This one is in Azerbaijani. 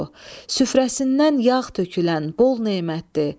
Süfrəsindən yağ tökülən bol nemətdir.